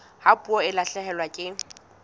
ha puo e lahlehelwa ke